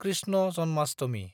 Krishna Janmashtami